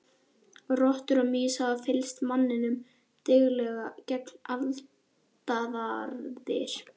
Rottur og mýs hafa fylgt manninum dyggilega gegnum aldaraðir.